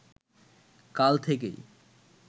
কাল থেকেই